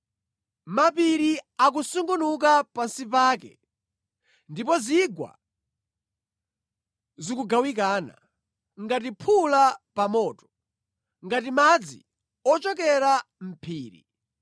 Mapiri akusungunuka pansi pake, ndipo zigwa zikugawikana ngati phula pa moto, ngati madzi ochokera mʼphiri.